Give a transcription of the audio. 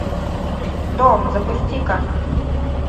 дом запусти ка